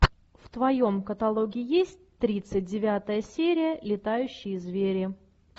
в твоем каталоге есть тридцать девятая серия летающие звери